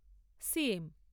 CM